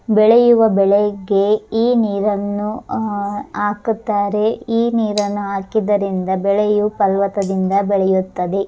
ಬೆಳೆಯುವ ಬೆಳೆಗೆ ಈ ನೀರನ್ನುಆಹ್ ಹಾಕುತ್ತಾರೆ ಈ ನೀರನ್ನು ಹಾಕಿದ್ದರಿಂದ ಬೆಳೆಯೂ ಫಲವತ್ತದಿಂದ ಬೆಳೆಯುತ್ತದೆ.